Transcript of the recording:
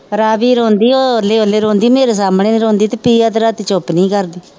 ਰਾਵੀ ਰੋਂਦੀ ਉਹ ਓਹਲੇ ਓਹਲੇ ਰੋਂਦੀ ਮੇਰੇ ਸਾਹਮਣੇ ਨਹੀਂ ਰੋਂਦੀ ਤੇ ਪ੍ਰਿਆ ਤੇ ਰਾਤੀ ਚੁੱਪ ਨਹੀਂ ਹੀ ਕਰਦੀ